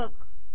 लेखक